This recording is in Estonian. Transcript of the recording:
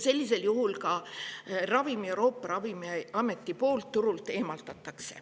Sellisel juhul Euroopa Ravimiameti selle ravimi turult eemaldab.